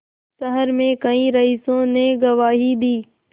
शहर में कई रईसों ने गवाही दी